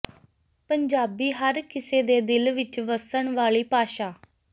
ਪੰਜਾਬੀ ਹਰ ਕਿਸੇ ਦੇ ਦਿਲ ਵਿਚ ਵੱਸਣ ਵਾਲੀ ਭਾਸ਼ਾ